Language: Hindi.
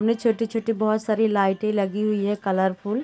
इनमें छोटी छोटी बहुत सारी लाइटे लगी हुई हैं कलरफुल ।